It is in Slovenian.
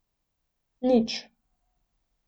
Nič.